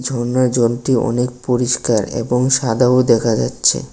ঝরনার জলটি অনেক পরিষ্কার এবং সাদাও দেখা যাচ্ছে।